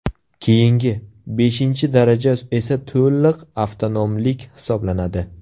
Keyingi, beshinchi daraja esa to‘liq avtonomlik hisoblanadi.